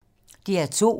DR2